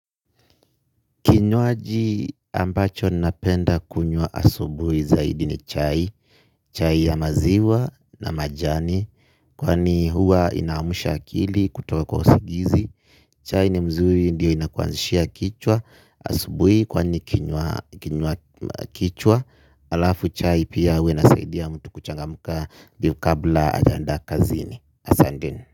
Kinywaji ambacho napenda kunywa asubui zaidi ni chai, chai ya maziwa na majani kwani huwa ina amusha akili kutoka kwa usingizi. Chai ni mzuri ndiyo inakuanzishia kichwa, asubui kwani kinywa kichwa, alafu chai pia huwa inasaidia mtu kuchangamka ndio kabla ajaenda kazini. Asanteni.